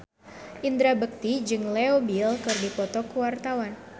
Indra Bekti jeung Leo Bill keur dipoto ku wartawan